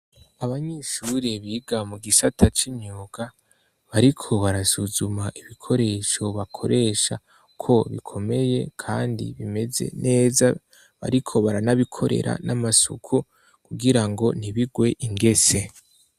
Abanyeshure biga mu gisata c'imyuga bariko barasuzuma ibikoresho bakoresha ko bikomeye kandi bimeze neza bariko baranabikorera n'amasuku kugira ngo ntibigwe ingese.